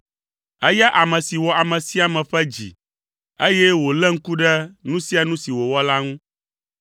eya ame si wɔ ame sia ame ƒe dzi, eye wòléa ŋku ɖe nu sia nu si wowɔna la ŋu.